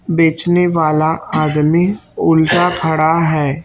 बेचने वाला आदमी उल्टा खड़ा है।